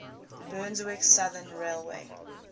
brunswick southern railway